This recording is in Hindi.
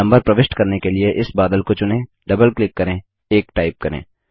नम्बर प्रविष्ट करने के लिए इस बादल को चुनें डबल क्लिक करें 1 टाइप करें